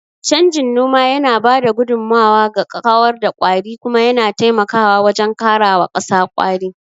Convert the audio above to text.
Canjin noma yana ba da gudummawa ga kawar da kwari, kuma yana taimakawa wajen karawa ƙasa ƙwari.